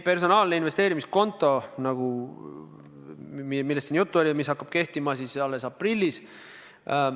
Personaalne investeerimiskonto, millest siin juttu oli, hakkab tõesti kehtima alles aprillis.